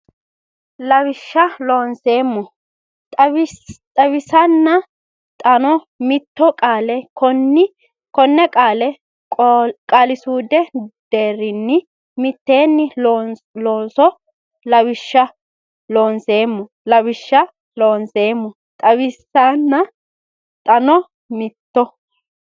Lawishsha Loonseemmo xawisanna xaano mitto qaale konne qaale qaali suudu deerrinni miteenni loonso Lawishsha Loonseemmo Lawishsha Loonseemmo xawisanna xaano mitto.